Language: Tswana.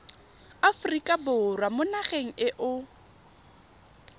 aforika borwa mo nageng eo